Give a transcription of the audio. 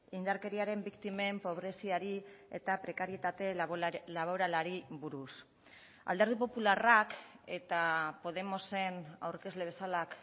indarkeriaren biktimen pobreziari eta prekarietate laboralari buruz alderdi popularrak eta podemosen aurkezle bezala